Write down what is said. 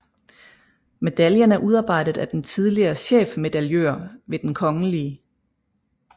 Medaljen er udarbejdet af den tidligere chefmedaljør ved Den kgl